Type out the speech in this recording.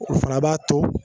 O fana b'a to